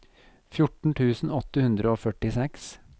fjorten tusen åtte hundre og førtiseks